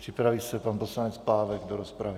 Připraví se pan poslanec Pávek do rozpravy.